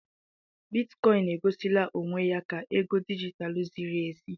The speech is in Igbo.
Bitikọin e gosila onwe ya ka ego dijitalụ ziri ezi.